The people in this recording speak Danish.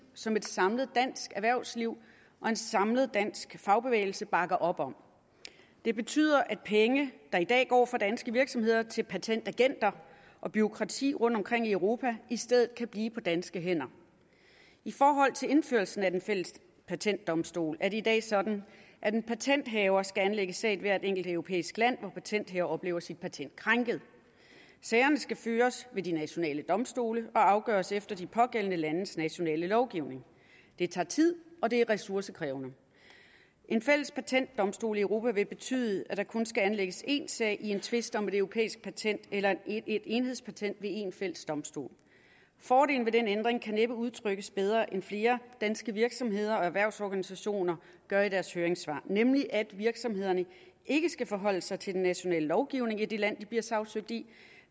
som et samlet dansk erhvervsliv og en samlet dansk fagbevægelse bakker op om det betyder at penge der i dag går fra danske virksomheder til patentagenter og bureaukrati rundtomkring i europa i stedet kan blive på danske hænder i forhold til indførelsen af den fælles patentdomstol er det i dag sådan at en patenthaver skal anlægge sag i hvert enkelt europæisk land hvor patenthaver oplever sit patent krænket sagerne skal føres ved de nationale domstole og afgøres efter de pågældende landes nationale lovgivning det tager tid og det er ressourcekrævende en fælles patentdomstol i europa vil betyde at der kun skal anlægges én sag i en tvist om et europæisk patent eller et enhedspatent ved en fælles domstol fordelen ved den ændring kan næppe udtrykkes bedre end flere danske virksomheder og erhvervsorganisationer gør i deres høringssvar nemlig at virksomhederne ikke skal forholde sig til den nationale lovgivning i det land de bliver sagsøgt i